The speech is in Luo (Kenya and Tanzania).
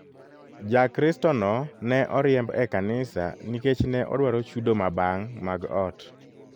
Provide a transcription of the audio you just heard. Ja kristo no ne oriemb e kanisa nikech ne odwaro chudo mabang' mag ot.